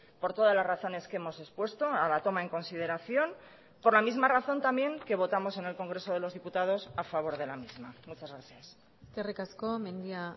por todas las razones que hemos expuesto a la toma en consideración por la misma razón también que votamos en el congreso de los diputados a favor de la misma muchas gracias eskerrik asko mendia